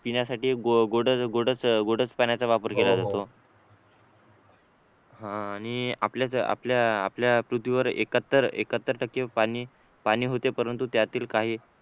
पिण्यासाठी गोडच गोडच गोडच पाण्याचा वापर केला जातो हा आणि आपल्या आपल्या आपल्या पृथ्वीवर एकाहत्तर एकाहत्तर टक्के पाणी होते परंतु त्यातील काही